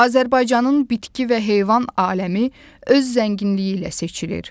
Azərbaycanın bitki və heyvan aləmi öz zənginliyi ilə seçilir.